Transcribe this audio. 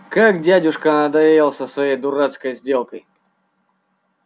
как дядюшка надоел со своей дурацкой сделкой